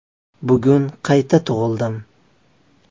“Bugun qayta tug‘ildim.